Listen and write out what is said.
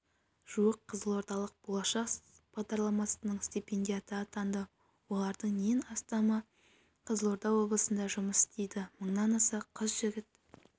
жуық қызылордалық болашақ бағдарламасының стипендиаты атанды олардың нен астамы қызылорда облысында жұмыс істейді мыңнан аса қыз-жігіт